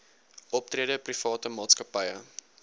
optrede private maatskappye